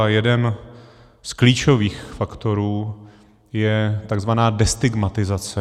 A jeden z klíčových faktorů je tzv. destigmatizace.